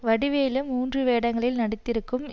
வடிவேலு மூன்று வேடங்களில் நடித்திருக்கும்